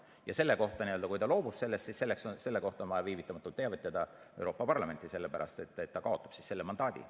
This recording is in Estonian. Ja selle kohta, kui ta loobub sellest, on vaja viivitamatult teavitada Euroopa Parlamenti, sellepärast et ta kaotab siis selle mandaadi.